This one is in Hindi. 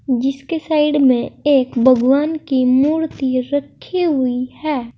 जिसकी साइड में एक भगवान की मूर्ति रखी हुई है।